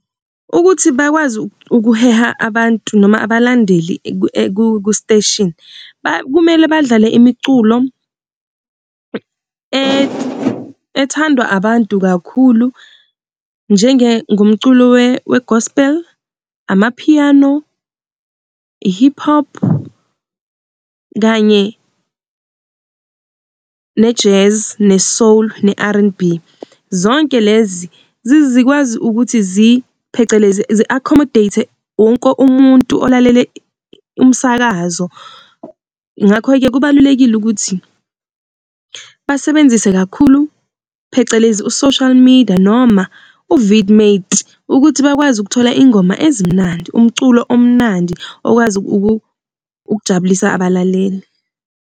Ukuthi bakwazi ukuheha abantu noma abalandeli ku-station kumele badlale imiculo ethandwa abantu kakhulu njenge ngumculo weGospel, Amapiano, iHip-Hop, kanye neJazz, neSoul, ne-R_N_B. Zonke lezi zikwazi ukuthi zi phecelezi zi-accommodate wonke umuntu olalele imisakazo. Ngakho-ke kubalulekile ukuthi basebenzise kakhulu phecelezi uSocial Media noma ukuthi bakwazi ukuthola iy'ngoma ezimnandi, umculo omnandi okwazi ukujabulisa abalaleli.